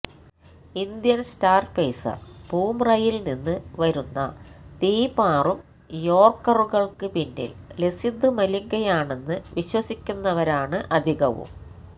Indian star pacer ബൂമ്രയില് നിന്ന് വരുന്ന തീപാറും യോര്ക്കറുകള്ക്ക് പിന്നില് ലസിത് മലിംഗയാണെന്ന് വിശ്വസിക്കുന്നവരാണ് അധികവും